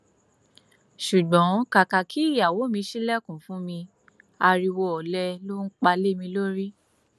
ṣùgbọn kàkà kí ìyàwó mi ṣílẹkùn fún mi ariwo ọlẹ ló pa lé mi lórí